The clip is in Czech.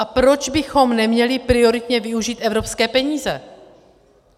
A proč bychom neměli prioritně využít evropské peníze?